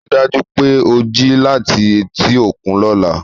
Rí i dájú pé o jí láti etí òkun lọ́la